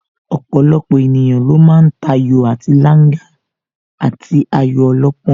Ọ̀pọ̀lọpọ̀ ènìyàn ló ma ń tayò àti Langa àti ayò ọlọ́pọ́n